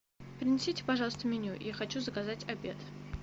принесите пожалуйста меню я хочу заказать обед